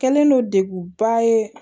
Kɛlen don degunba ye